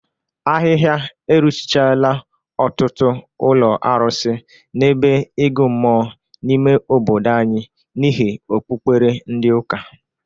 Ahịha eruchichala ọtụtụ ụlọ arụsị na ebe ịgụ mmụọ n'ime obodo anyị n'ihi okpukpere ndị ụka.